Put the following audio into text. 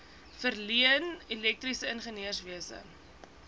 verleen elektriese ingenieurswese